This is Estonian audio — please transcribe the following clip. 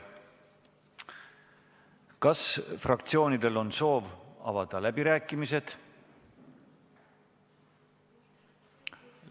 Kas fraktsioonidel on soov avada läbirääkimised?